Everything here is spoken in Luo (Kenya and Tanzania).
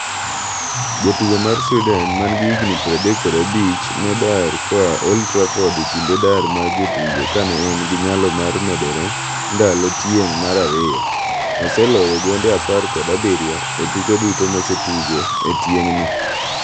Jatugo mar Sweden mangi gi higni 35 no dar koa Old Trafford kinde dar mar jotugo kane en gi nyalo mar medore ndalo tieng' mar ariyo. oseloyo gonde apar kod abiriyo e tuke duto mose tugo e tieng' ni.